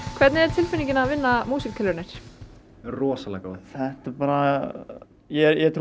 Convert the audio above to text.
hvernig er tilfinningin að vinna músíktilraunir rosalega góð þetta bara ég trúi